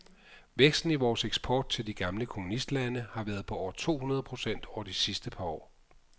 Væksten i vores eksport til de gamle kommunistlande har været på over to hundrede procent over de sidste par år.